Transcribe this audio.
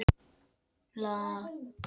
Lítill hópur hafði safnast saman á ganginum.